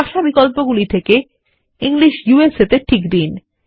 ভাষা বিকল্পগুলি থেকে ইংলিশ ইউএসএ এ টিক দিন